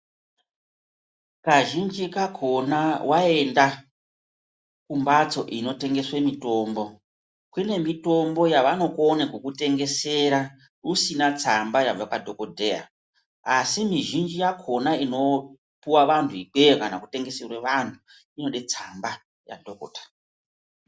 Kazhinji kakona waenda kumbatso inotengeswe mitombo, kune mitombo yavanokone kukutegesera usina tsamba yabva kwadhogodheya asi mizhinji yakona inopuwa vanhu ikweyo kana kutengeserwe vanhu inode tsamba yadhokota.